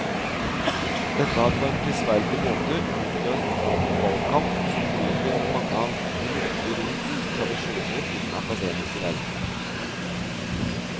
Dette har på en prisverdig måte utløst en åpen valgkamp, som bryter med mange av de lukkede roms tradisjoner i den akademiske verden.